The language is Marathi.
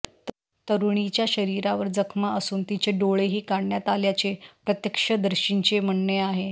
तरुणीच्या शरीरावर जखमा असून तिचे डोळेही काढण्यात आल्याचे प्रत्यक्षदर्शींचे म्हणणे आहे